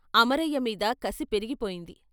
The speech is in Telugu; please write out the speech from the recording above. అమరయ్య మీద కసి పెరిగిపోయింది.